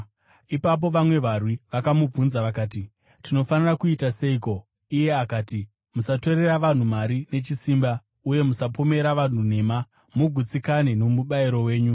Ipapo vamwe varwi vakamubvunza vakati, “Tinofanira kuita seiko?” Iye akati, “Musatorera vanhu mari nechisimba uye musapomera vanhu nhema, mugutsikane nomubayiro wenyu.”